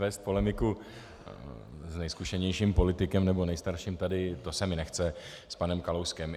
Vést polemiku s nejzkušenějším politikem, nebo nejstarším tady, to se mi nechce, s panem Kalouskem.